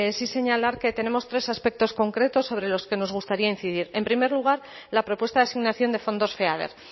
sí señalar que tenemos tres aspectos concretos sobre los que nos gustaría incidir en primer lugar la propuesta de asignación de fondos feader